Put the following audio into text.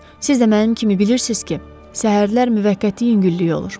Siz də mənim kimi bilirsiz ki, səhərlər müvəqqəti yüngüllük olur.